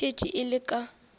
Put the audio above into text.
e šetše e le ka